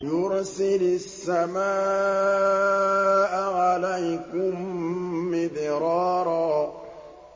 يُرْسِلِ السَّمَاءَ عَلَيْكُم مِّدْرَارًا